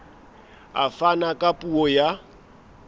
a fana ka puo ya